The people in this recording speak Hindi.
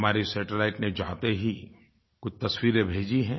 हमारे सैटेलाइट ने जाते ही कुछ तस्वीरें भेजी हैं